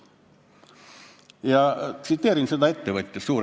Ma annan nüüd edasi selle suurettevõtja sõnu.